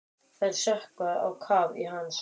Þær sökkva á kaf í hans.